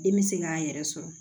Den mi se k'a yɛrɛ sɔrɔ